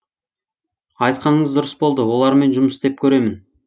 айтқаныңыз дұрыс болды олармен жұмыс істеп көремін